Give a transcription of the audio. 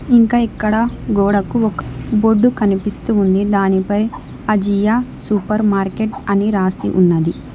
ఇంకా ఇక్కడ గోడకు ఒక బోర్డు కనిపిస్తు ఉంది దాని పై అజియ సూపర్ మార్కెట్ అని రాసి ఉన్నది.